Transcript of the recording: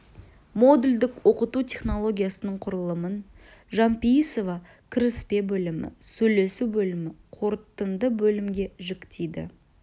модульдік оқыту технологиясының құрылымын жанпейісова кіріспе бөлімі сөйлесу бөлімі қорытынды бөлімге жіктейді